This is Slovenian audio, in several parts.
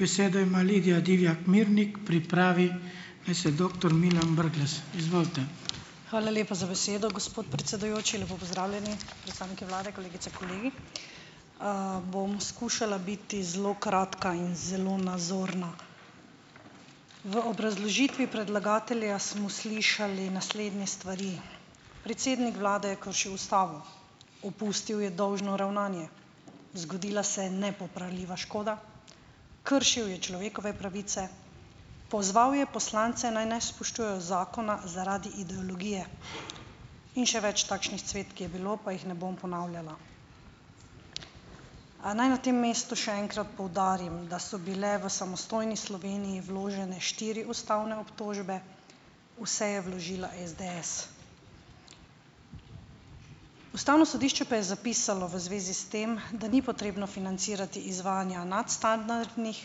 Hvala lepa za besedo, gospod predsedujoči. Lepo pozdravljeni predstavniki vlade, kolegice, kolegi! Bom skušala biti zelo kratka in zelo nazorna. V obrazložitvi predlagatelja smo slišali naslednje stvari: predsednik vlade je kršil ustavo, opustil je dolžno ravnanje, zgodila se je nepopravljiva škoda, kršil je človekove pravice, pozval je poslance, naj ne spoštujejo zakona zaradi ideologije, in še več takšnih cvetk je bilo pa jih ne bom ponavljala. A naj na tem mestu še enkrat poudarim, da so bile v samostojni Sloveniji vložene štiri ustavne obtožbe, vse je vložila SDS. Ustavno sodišče pa je zapisalo v zvezi s tem, da ni potrebno financirati izvajanja nadstandardnih,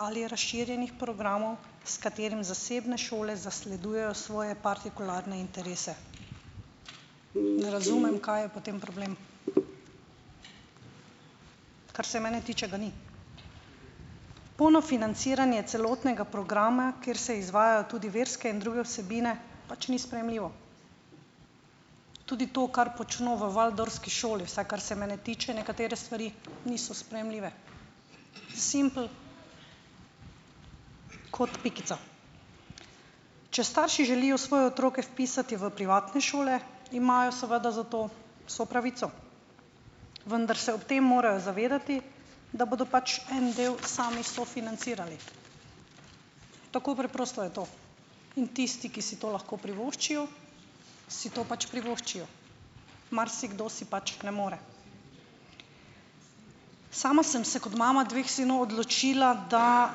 ali razširjenih programov, s katerim zasebne šole zasledujejo svoje partikularne interese. Ne razumem, kaj je potem problem. Kar se mene tiče, ga ni. Polno financiranje celotnega programa, kjer se izvajajo tudi verske in druge vsebine, pač ni sprejemljivo. Tudi to, kar počno v waldorfski šoli, vsaj kar se mene tiče, nekatere stvari niso sprejemljive. "Simpel kot pikica". Če starši želijo svoje otroke vpisati v privatne šole, imajo seveda za to vso pravico, vendar se ob tem morajo zavedati, da bodo pač en del sami sofinancirali. Tako preprosto je to. In tisti, ki si to lahko privoščijo, si to pač privoščijo. Marsikdo si pač ne more. Sama sem se kot mama dveh vseeno odločila, da,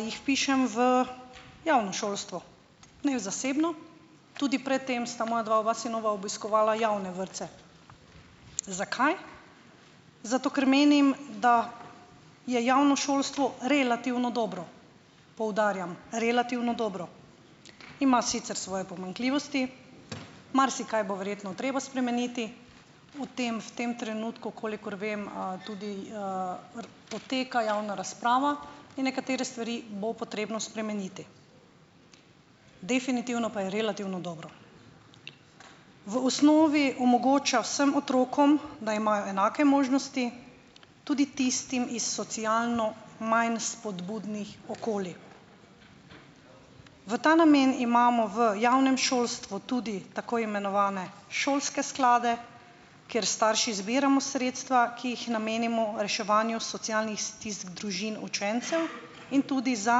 jih vpišem v javno šolstvo, ne v zasebno. Tudi pred tem sta moja dva oba sinova obiskovala javne vrtce. Zakaj? Zato ker menim, da je javno šolstvo relativno dobro. Poudarjam, relativno dobro. Ima sicer svoje pomanjkljivosti. Marsikaj bo verjetno treba spremeniti. O tem, v tem trenutku, kolikor vem, tudi, poteka javna razprava in nekatere stvari bo potrebno spremeniti. Definitivno pa je relativno dobro. V osnovi omogoča vsem otrokom, da imajo enake možnosti. Tudi tistim, iz socialno manj spodbudnih okolij. V ta namen imamo v javnem šolstvu tudi tako imenovane šolske sklade, kjer s starši zbiramo sredstva, ki jih namenimo reševanju socialnih stisk družin učencev in tudi za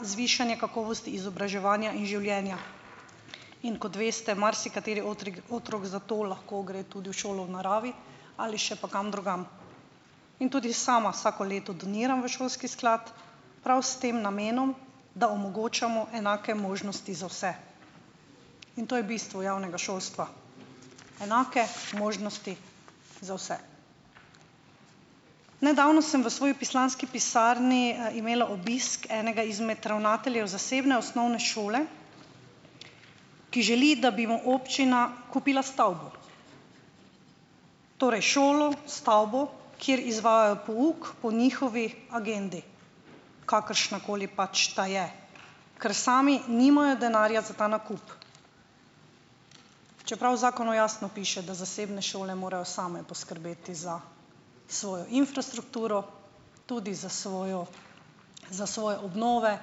zvišanje kakovosti izobraževanja in življenja. In kot veste, marsikateri otrik otrok zato lahko tudi gre tudi v šolo v naravi ali še pa kam drugam. In tudi sama vsako leto doniram v šolski sklad, prav s tem namenom, da omogočamo enake možnosti za vse. In to je bistvo javnega šolstva - enake možnosti za vse. Nedavno sem v svoji poslanski pisarni, imela obisk enega izmed ravnateljev zasebne osnovne šole, ki želi, da bi mu občina kupila stavbo. Torej, šolo, stavbo, kjer izvajajo pouk po njihovi agendi, kakršnakoli pač ta je, ker sami nimajo denarja za ta nakup, čeprav v zakonu jasno piše, da zasebne šole morajo same poskrbeti za svojo infrastrukturo, tudi za svojo za svoje obnove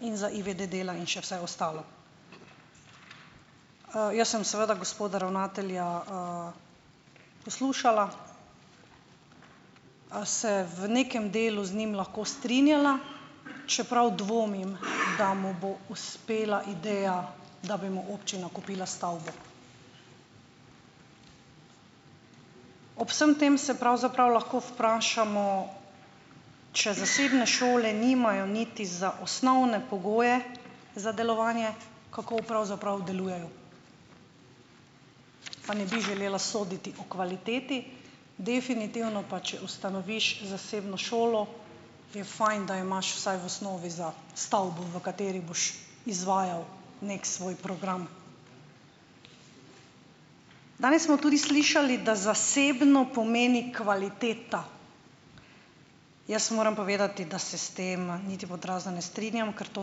in za ivede dela in še vse ostalo. Jaz sem seveda gospoda ravnatelja, poslušala, se v nekem delu z njim lahko strinjala, čeprav dvomim, da mu bo uspela ideja, da bi mu občina kupila stavbo. Ob vsem tem se pravzaprav lahko vprašamo, če zasebne šole nimajo niti za osnovne pogoje za delovanje, kako pravzaprav delujejo. Pa ne bi želela soditi o kvaliteti. Definitivno pač, ustanoviš zasebno šolo, je "fajn", da imaš vsaj v osnovi za stavbo, v kateri boš izvajal neki svoj program. Danes smo tudi slišali, da zasebno pomeni kvaliteta. Jaz moram povedati, da se s tem niti "pod razno" ne strinjam, ker to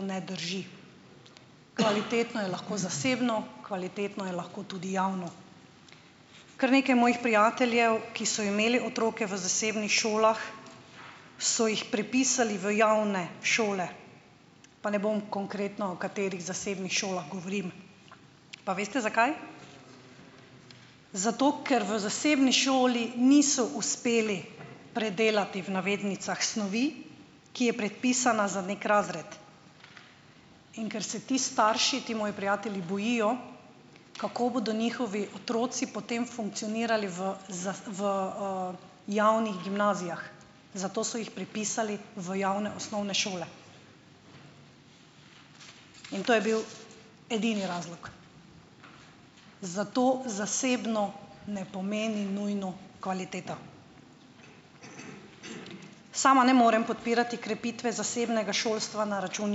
ne drži. Kvalitetno je lahko zasebno, kvalitetno je lahko tudi javno. Kar nekaj mojih prijateljev, ki so imeli otroke v zasebnih šolah, so jih prepisali v javne šole - pa ne bom konkretno, o katerih zasebnih šolah govorim. Pa veste, zakaj? Zato, ker v zasebni šoli niso uspeli predelati, v navednicah "snovi", ki je predpisana za neki razred, in ker se ti starši, ti moji prijatelji, bojijo, kako bodo njihovi otroci potem funkcionirali v v, javnih gimnazijah, zato so jih prepisali v javne osnovne šole in to je bil edini razlog. Zato zasebno ne pomeni nujno kvaliteta. Sama ne morem podpirati krepitve zasebnega šolstva na račun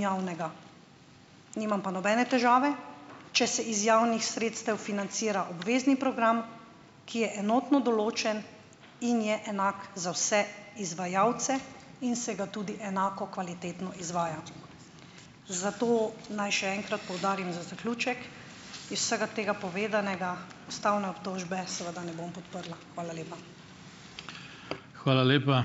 javnega, nimam pa nobene težave, če se iz javnih sredstev financira obvezni program, ki je enotno določen in je enak za vse izvajalce in se ga tudi enako kvalitetno izvaja. Zato naj še enkrat poudarim, za zaključek, iz vsega tega povedanega ustavne obžtožbe seveda ne bom podprla. Hvala lepa.